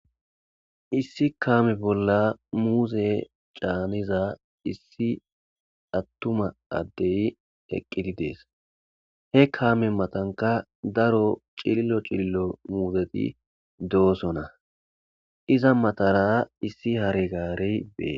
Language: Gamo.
Issi kaame bolla muuze caaniza issi attuma addey heqqidi dees he kaame matanka daro cillo cillo muuzeti doosona iza matara issi hare gaare bee.